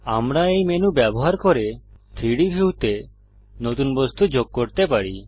আমরা এই মেনু ব্যবহার করে 3ডি ভিউতে নতুন বস্তু যোগ করতে পারি